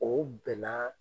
O bɛn na